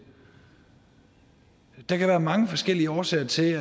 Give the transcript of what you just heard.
der kan være mange forskellige årsager til